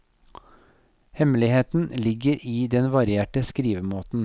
Hemmeligheten ligger i den varierte skrivemåten.